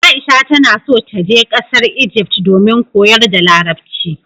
Aisha ta na so ta je ƙasar Ijift domin koyar da larabci